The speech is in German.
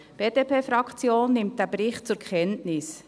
Die BDP-Fraktion nimmt diesen Bericht zur Kenntnis.